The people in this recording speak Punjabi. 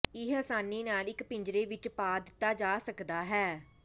ਇਹ ਆਸਾਨੀ ਨਾਲ ਇੱਕ ਪਿੰਜਰੇ ਵਿੱਚ ਪਾ ਦਿੱਤਾ ਜਾ ਸਕਦਾ ਹੈ